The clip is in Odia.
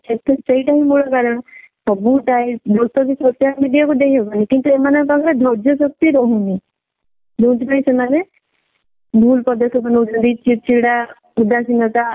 ସେଥିପାଇଁ ସେଇଟା ଟା ହିଁ ମୂଳ କାରଣ ସବୁ type social media କୁ ଦେଇ ହବନି କିନ୍ତୁ ଏମାନଙ୍କ ପାଖରେ ଧର୍ଯ୍ୟ ଶକ୍ତି ରହୁନି ଯଉଥି ପାଇଁ ସେମାନେ ଭୁଲ ପଦକ୍ଷେପ ନଉଛନ୍ତି ଚିଡ୍ ଚିଡା ଉଦାସୀନତା